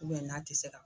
n'a tɛ se ka